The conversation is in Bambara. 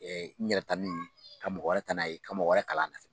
N yɛrɛ tali, ka mɔgɔ wɛrɛ ta n'a ye, ka wɛrɛ kalan na